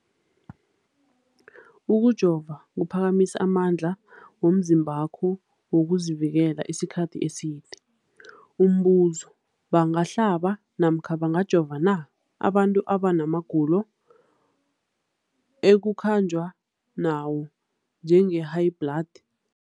Ukujova kuphakamisa amandla womzimbakho wokuzivikela isikhathi eside. Umbuzo, bangahlaba namkha bangajova na abantu abana magulo ekukhanjwa nawo, njengehayibhladi?